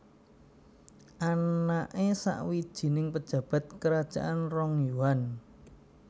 Anake sawijining pejabat kerajaan Rong Yuan